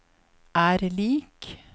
er lik